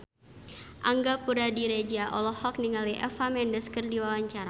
Angga Puradiredja olohok ningali Eva Mendes keur diwawancara